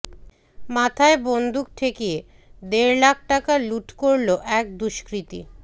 মাথায় বন্দুক ঠেকিয়ে দেড় লাখ টাকা লুঠ করল এক দুষ্কৃতী